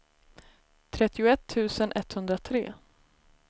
trettioett tusen etthundratre